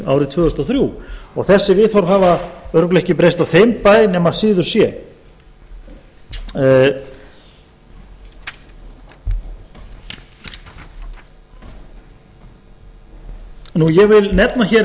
árið tvö þúsund og þrjú og þessi viðhorf hafa örugglega ekki breyst á þeim bæ nema síður sé ég vil nefna hér